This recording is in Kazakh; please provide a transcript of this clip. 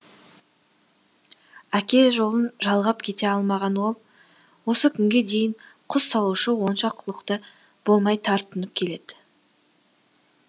әке жолын жалғап кете алмаған ол осы күнге дейін құс салушы онша құлықты болмай тартынып келеді